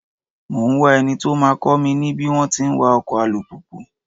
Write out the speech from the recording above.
Mò ń wá eni tó máa kọ́ mi ní bí wón ti ń wa ọkọ̀ alùpùpù.